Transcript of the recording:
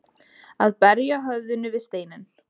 Að berja höfðinu við steininn